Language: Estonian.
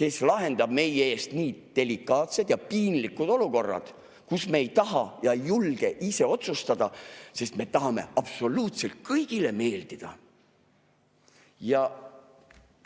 kes lahendab meie eest nii delikaatsed ja piinlikud olukorrad, kus me ei taha ega julge ise otsustada, sest me tahame absoluutselt kõigile meeldida?